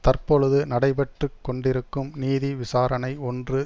தற்பொழுது நடைபெற்று கொண்டிருக்கும் நீதி விசாரணை ஒன்று